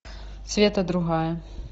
света другая